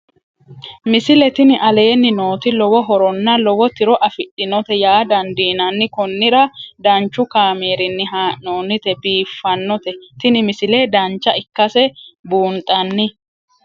misile tini aleenni nooti lowo horonna lowo tiro afidhinote yaa dandiinanni konnira danchu kaameerinni haa'noonnite biiffannote tini misile dancha ikkase buunxanni